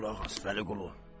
Qulaq as, Vəliqulu.